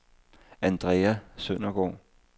Andrea Søndergaard